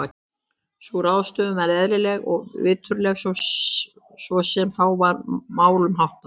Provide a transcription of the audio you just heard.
Sú ráðstöfun var eðlileg og viturleg svo sem þá var málum háttað.